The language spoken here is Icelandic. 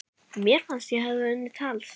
Mér fannst ég hafa unnið tals